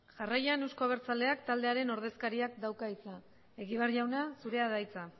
jarraian euzko abertzaleak taldearen ordezkariak dauka hitza egibar jauna zurea da hitza